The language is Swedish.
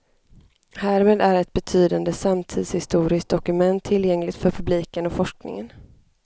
Härmed är ett betydande samtidshistoriskt dokument tillgängligt för publiken och forskningen.